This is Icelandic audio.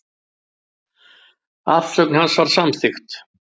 Afsögn hans var samþykkt.